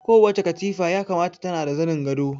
Kowace katifa ya kamata tana da zanin gado